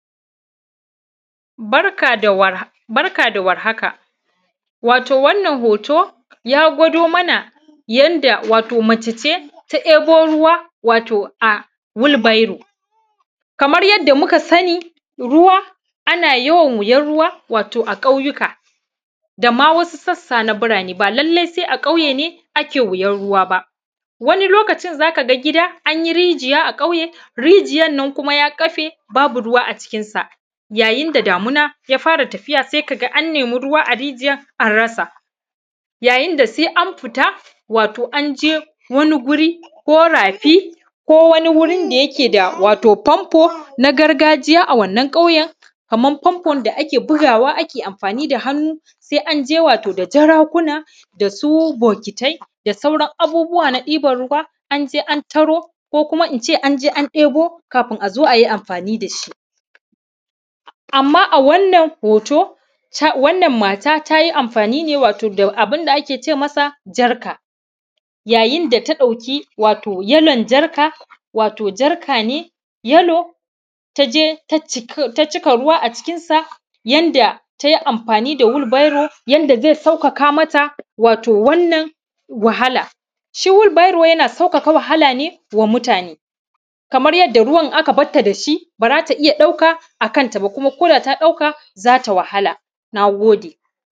Barka da war; barka da warhaka, wato wannan hoto, ya gwado mana yanda wato mace ce, ta ‘yebo ruwa wato a wilbairo. Kamar yadda muka sani, ruwa, ana yawan wuyan ruwa, wato a ƙauyuka, da ma wasu sassa na birane, ba lalle se a ƙauye ne ake wuyan ruwa ba. Wani lokacin za ka ga gida, an yi rijiya a ƙauye, rijiyan nan kuma ya ƙafe, babu ruwa a cikinsa. Yayin da damina ya fara tafiya, se ka ga an nemi ruwa a rijiyar an rasa yayin da se an fita, wato an je wani guri, ko rafi, ko wani gurin da yake da, wato fanfo na gargajiya a wannan ƙauyen, kaman fanfon da ake bugawa, ake amfani da hannu, se an je wato da jarakuna da su bokitai da sauran abubuwa na ɗiban ruwa, an je an taro, ko kuma in ce an je an ɗebo, kafin a zo a yi amfani da shi. Amma a wannan hoto, ta; wannan mata, ta yi amfani ne wato da abin da ake ce masa, jarka. Yayin da ta ɗauki, wato yalon jarka, wato jarka ne yalo, ta je ta cik; ta cika ruwa a cikin sa, yanda te amfani da wilbairo, yanda ze saukaka mata, wato wannan wahala. Shi wilbairo, yana saukaka wahala ne, wa mutane, kamar yadda ruwan aka bat ta da shi, ba za ta iya ɗauka a kanta ba, kuma ko da ta ɗauka, za ta wahala, na gode.